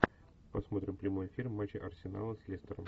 посмотрим прямой эфир матча арсенала с лестером